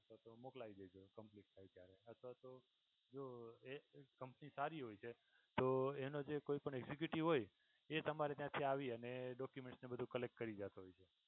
અથવા તો મોકલાઈ દેજો કમ્પ્લીટ થાય ત્યારે. અથવા તો જો એ કંપની સારી હોય છે તો એનો જે કોઈ executive હોય એ તમારે ત્યાંથી આવી અને documents ને એ બધુ collect કરી જતો હોય છે.